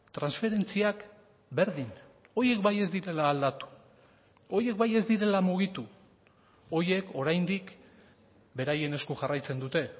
transferentziak berdin horiek bai ez direla aldatu horiek bai ez direla mugitu horiek oraindik beraien esku jarraitzen dute